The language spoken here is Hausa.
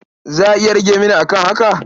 Za a iya rage mini a kan haka?